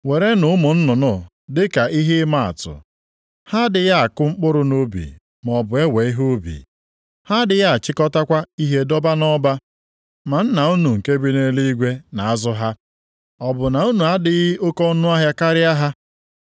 Werenụ ụmụ nnụnụ dị ka ihe ịmaatụ. Ha adịghị akụ mkpụrụ nʼubi maọbụ ewe ihe ubi. Ha adịghị achịkọtakwa ihe debe nʼọba. Ma Nna unu nke bi nʼeluigwe na-azụ ha. Ọ bụ na unu adịghị oke ọnụahịa karịa ha?